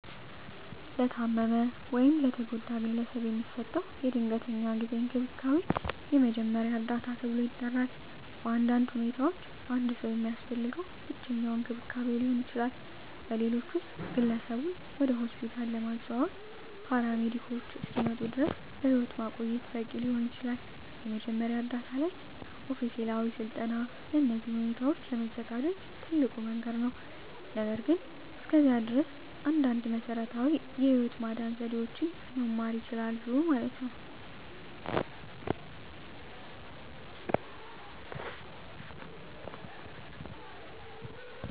ለታመመ ወይም ለተጎዳ ግለሰብ የሚሰጠው የድንገተኛ ጊዜ እንክብካቤ የመጀመሪያ እርዳታ ተብሎ ይጠራል. በአንዳንድ ሁኔታዎች አንድ ሰው የሚያስፈልገው ብቸኛው እንክብካቤ ሊሆን ይችላል, በሌሎች ውስጥ, ግለሰቡን ወደ ሆስፒታል ለማዘዋወር ፓራሜዲኮች እስኪመጡ ድረስ በሕይወት ማቆየት በቂ ሊሆን ይችላል. የመጀመሪያ ዕርዳታ ላይ ኦፊሴላዊ ሥልጠና ለእነዚህ ሁኔታዎች ለመዘጋጀት ትልቁ መንገድ ነው, ነገር ግን እስከዚያ ድረስ, አንዳንድ መሰረታዊ የህይወት ማዳን ዘዴዎችን መማር ይችላሉ።